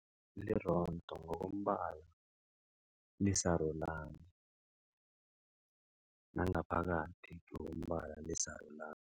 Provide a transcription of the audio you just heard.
Lirondo ngokombala lisarulani nangaphakathi ngokombala lisarulani.